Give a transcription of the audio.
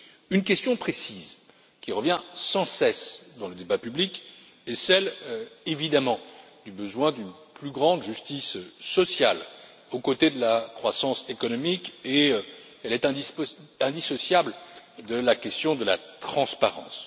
Une question précise, qui revient sans cesse dans le débat public, est celle, évidemment, du besoin d'une plus grande justice sociale aux côtés de la croissance économique, et elle est indissociable de la question de la transparence.